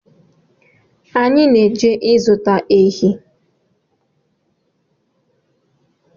Anyị na-eje zụta ehi